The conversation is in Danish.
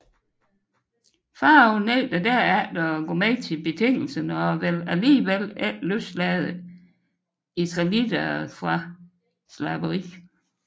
Farao nægter derefter at gå med til betingelserne og vil alligevel ikke løslade israelitterne fra slaveri